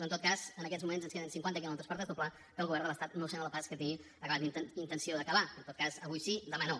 en tot cas en aquests moments ens queden cinquanta quilòmetres per desdoblar que el govern de l’estat no sembla pas que tingui intenció d’acabar en tot cas avui sí demà no